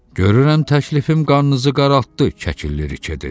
Görürəm təklifim qannınızı qaraltdı, Kəkilli rike dedi.